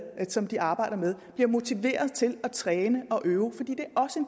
som de arbejder med bliver motiveret til at træne og øve fordi